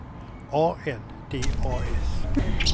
A N D A S